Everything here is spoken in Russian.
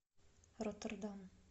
роттердам